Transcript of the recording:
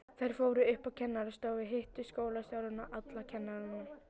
Þær fóru upp á kennarastofu, hittu skólastjórann og alla kennarana.